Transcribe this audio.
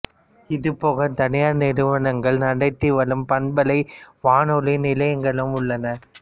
இதுபோக தனியார் நிறுவனங்கள் நடத்தி வரும் பண்பலை வானொலி நிலையங்களும் உள்ளன